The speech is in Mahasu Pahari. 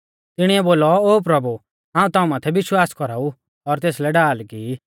तिणीऐ बोलौ ओ प्रभु हाऊं ताऊं माथै विश्वास कौराऊ और तेसलै ढाल की ई